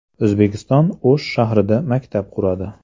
O‘zbekiston O‘sh shahrida maktab quradi.